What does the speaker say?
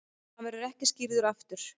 Hann verður ekki skírður aftur.